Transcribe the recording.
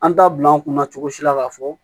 An t'a bila an kunna cogo si la k'a fɔ